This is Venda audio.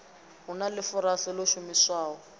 hu na ḽifurase ḽo shumiswaho